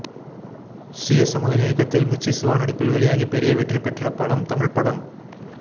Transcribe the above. CS Amudhan இயக்கத்தில் மிர்ச்சி சிவா நடிப்பில் வெளியாகி பெரிய வெற்றி பெற்ற படம் தமிழ்படம்